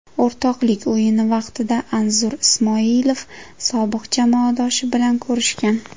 O‘rtoqlik o‘yini vaqtida Anzur Ismoilov sobiq jamoadoshi bilan ko‘rishgan.